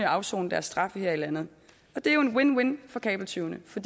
afsone deres straf her i landet det er jo en win win for kabeltyvene for